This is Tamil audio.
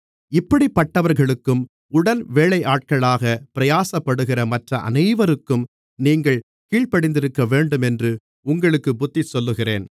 இப்படிப்பட்டவர்களுக்கும் உடன்வேலையாட்களாக பிரயாசப்படுகிற மற்ற அனைவருக்கும் நீங்கள் கீழ்ப்படிந்திருக்கவேண்டுமென்று உங்களுக்குப் புத்திசொல்லுகிறேன்